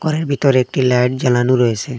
ঘরের ভিতর একটি লাইট জ্বালানো রয়েসে।